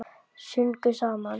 Sungum saman.